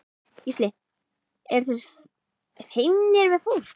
Gísli: Eru þeir feimnir við fólk?